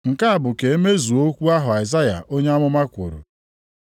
Nke a bụ ka emezuo okwu ahụ Aịzaya onye amụma kwuru,